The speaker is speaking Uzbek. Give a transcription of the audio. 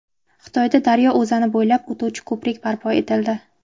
Xitoyda daryo o‘zani bo‘ylab o‘tuvchi ko‘prik barpo etildi.